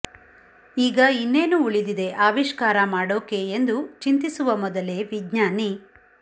ಈಗ ಇನ್ನೇನು ಉಳಿದಿದೆ ಆವಿಷ್ಕಾರ ಮಾಡೋಕೆ ಎಂದು ಚಿಂತಿಸುವ ಮೊದಲೇ ವಿಜ್ಞಾನಿ